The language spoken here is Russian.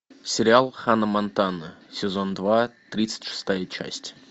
сериал ханна монтана сезон два тридцать шестая часть